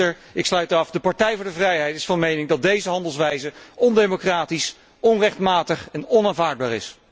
Voorzitter, ik sluit af de Partij voor de vrijheid is van mening dat deze handelwijze ondemocratisch, onrechtmatig en onaanvaardbaar is.